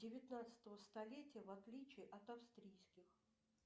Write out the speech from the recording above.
девятнадцатого столетия в отличие от австрийских